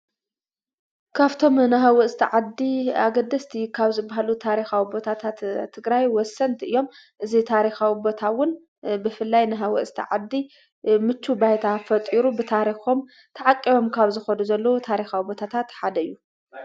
ካፍቶም ንሃዊ ዝተ ዓዲ ኣገድስቲ ኻብ ዝብሃሉ ታሪኻ ኣኣቦታታት እትግራይ ወሰንቲ እዮም እዙይ ታሪኻዊ ኣቦታውን ብፍላይ ንሃዊ ዝተ ዓዲ ምቹ ባይታ ፈጢሩ ብታሪኾም ተዓቂቦም ካብ ዝኾዱ ዘለዉ ታሪኻ ኣቦታታትሓደዩ።